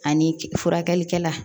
Ani furakɛlikɛla